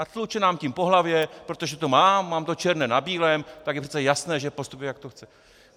A tluče nám tím po hlavě, protože to mám, mám to černé na bílém, tak je přece jasné, že postupuji, jak to chce...